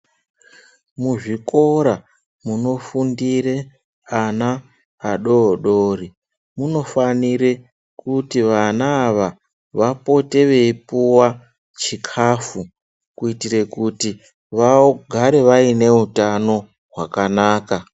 Muzvikora munofundira ana adodori munofanira kuti vana ava vapote veipuwa chikafu kuitire kuti vagare vaine utano hwakanaka.